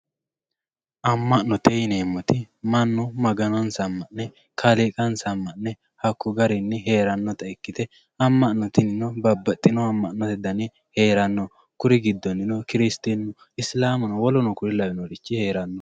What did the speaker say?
amma'note yineemoti mannu maganonsa amma'ne kaaliiqansa amma'ne hakko garinni heerannota ikkite ammo'no tinino babaxiyohu amma'note dani heeranno kuri giddonino kiristinnu, isilaamu woluno kuri lawiiyoorichi heeranno